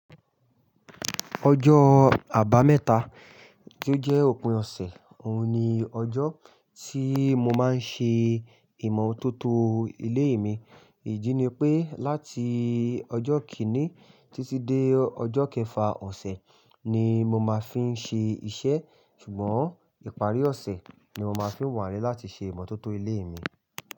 Ọjọ́ àbámẹ́ta tí ó jẹ́ òpin ọ̀sẹ̀, òun ni ọjọ́ tí mo máa ń ṣe ìmọ̀tótó ilé mi. Èyí ni pé láti ọjọ́ kíní títí dé ọjọ́ kẹfà ọ̀sẹ̀ ni mo máa fi ń ṣe iṣẹ́. Ṣùgbọ́n ìparí ọ̀sẹ̀ ni mo máa fi ń wà ní láti ṣe ìmọ̀tótó ilé mi.